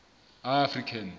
african